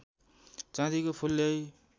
चाँदीको फूल ल्याई